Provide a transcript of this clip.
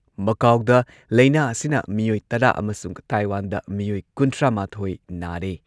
ꯃꯀꯥꯎꯗ ꯂꯩꯅꯥ ꯑꯁꯤꯅ ꯃꯤꯑꯣꯏ ꯇꯔꯥ ꯑꯃꯁꯨꯡ ꯇꯥꯏꯋꯥꯟꯗ ꯃꯤꯑꯣꯏ ꯀꯨꯟꯊ꯭ꯔꯥꯃꯥꯊꯣꯏ ꯅꯥꯔꯦ꯫